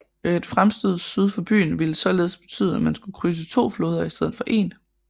Et fremstød syd for byen ville således betyde at man skulle krydse to floder i stedet for en